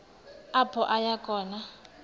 apho aya khona